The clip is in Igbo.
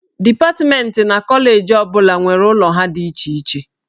Dipatmentị na koleji ọ bụla nwere ụlọ ha dị iche iche.